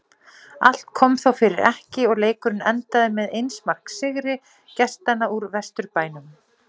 Allt kom þó fyrir ekki og leikurinn endaði með eins marks sigri gestanna úr Vesturbænum.